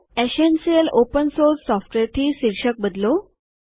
essential open source software થી શીર્ષક બદલો